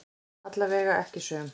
Allavega ekki söm.